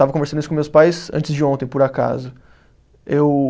Estava conversando isso com meus pais antes de ontem, por acaso. Eu